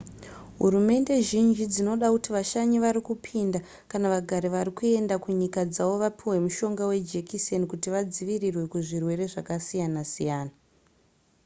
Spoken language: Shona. hurumende zhinji dzinoda kuti vashanyi varikupinda kana vagari varikuenda kunyika dzavo vapihwe mushonga wejekiseni kuti vadzivirirwe kuzvirwere zvasiyana siyana